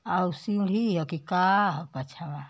हउ सीढ़ी ह की का ह पछवा।